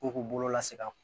K'u k'u bolo lase ka